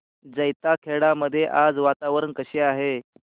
जैताखेडा मध्ये आज वातावरण कसे आहे